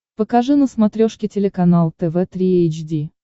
покажи на смотрешке телеканал тв три эйч ди